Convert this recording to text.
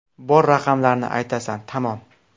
Bor raqamlarni aytasan, tamom.